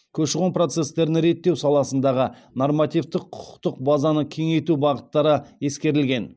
көші қон процестерін реттеу саласындағы нормативтік құқықтық базаны кеңейту бағыттары ескерілген